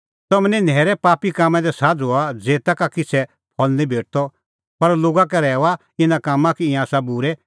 तम्हैं निं न्हैरे पापी कामां दी साझ़ू हआ ज़ेता का किछ़ै फल निं भेटदअ पर लोगा का रहैऊआ इना कामां कि ईंयां आसा बूरै